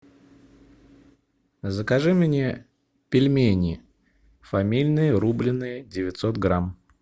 закажи мне пельмени фамильные рубленные девятьсот грамм